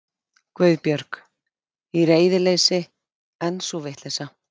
Guðbjörg. í reiðileysi, en sú vitleysa.